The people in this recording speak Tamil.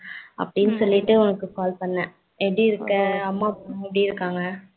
அப்டின்னு சொல்லிட்டு உனக்கு call பண்ணே. எப்டி இருக்க அம்மா அப்பா எல்லாம் எப்டி இருக்காங்க